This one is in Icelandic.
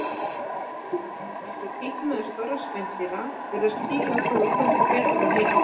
Eins og títt er meðal stórra spendýra, virðast fílar þola kulda betur en hita.